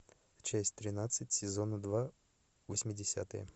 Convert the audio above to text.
часть тринадцать сезона два восьмидесятые